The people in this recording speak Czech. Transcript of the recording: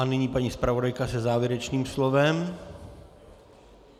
A nyní paní zpravodajka se závěrečným slovem.